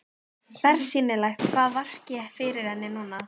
Bersýnilegt hvað vakir fyrir henni núna.